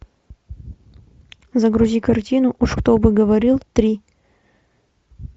загрузи картину уж кто бы говорил три